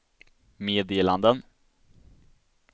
meddelanden